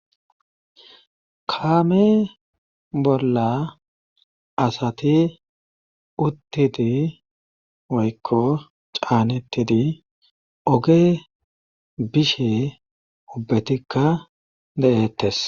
kaame bolla asati uttidi woykko caanettidi oge bishe ubbetikka de7ettes